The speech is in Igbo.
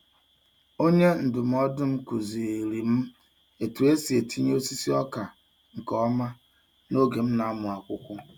Onye ndụmọdụ m kụziiri m otu esi etinye osisi ọka nke ọma n'oge m na-amụ akwụkwọ.